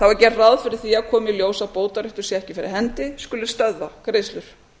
þá er gert ráð fyrir því að komi í ljós að bótaréttur sé ekki fyrir hendi skuli stöðva greiðslur